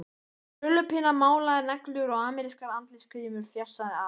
Með krullupinna, málaðar neglur og amerískar andlitsgrímur, fjasaði afi.